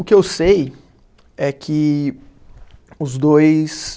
O que eu sei é que os dois...